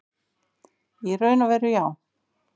Í raun og veru já.